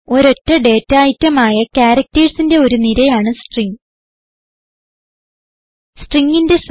ഒരൊറ്റ data item ആയ ക്യാരക്റ്റെഴ്സിന്റെ ഒരു നിരയാണ് സ്ട്രിംഗ്